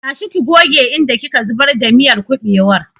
Tashi ki goge inda ki ka zubar da miyar kuɓewar!